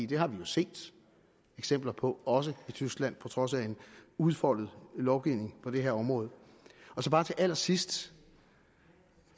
det har vi jo set eksempler på også i tyskland på trods af en udfoldet lovgivning på det her område til allersidst